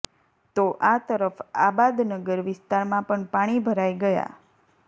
તો આ તરફ આબાદનગર વિસ્તારમાં પણ પાણી ભરાઈ ગયા